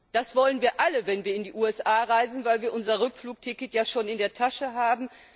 Das wollen wir alle, wenn wir in die USA reisen, weil wir unser Rückflugticket ja schon in der Tasche haben.